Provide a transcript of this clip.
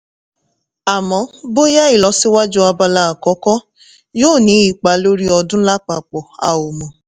àmọ́ bóyá ìlọ́síwájú abala àkọ́kọ́ yó ní ipa lórí ọdún lápapọ̀, a ò mọ̀